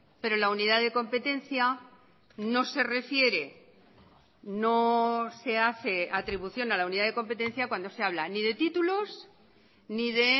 pero la unidad de competencia no se refiere no se hace atribución a la unidad de competencia cuando se habla ni de títulos ni de